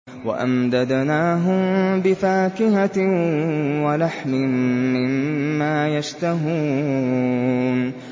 وَأَمْدَدْنَاهُم بِفَاكِهَةٍ وَلَحْمٍ مِّمَّا يَشْتَهُونَ